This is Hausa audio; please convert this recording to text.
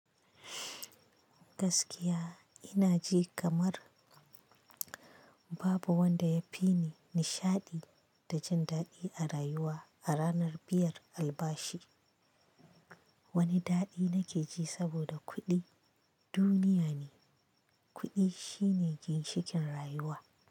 Gaskiya ina ji kamar babu wanda ya fi ni nishaɗi da jin daɗi a rayuwa a ranar biyar albashi. Wani daɗi nake ji saboda kuɗi duniya ne, kuɗi shine ginshikin rayuwa.